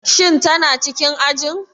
Shin tana cikin ajin?